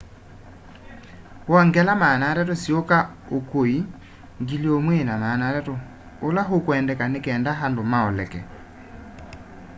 wongela 300 siuka ukui 1,300 ula ukwendeka nikenda andu maoleke